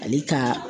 Ale ka